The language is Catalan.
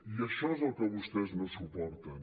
i això és el que vostès no suporten